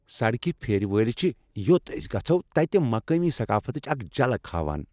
سڈكہِ پھیرِ وٲلۍ چِھ یوٚت ٲسۍ گَژھو تتہِ مقٲمی ثقافتٕچ اکھ جھلک ہاوان۔